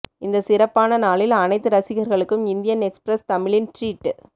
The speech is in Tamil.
இந்தச் சிறப்பான நாளில் அனைத்து ரசிகர்களுக்கும் இந்தியன் எக்ஸ்பிரஸ் தமிழின் ட்ரீட்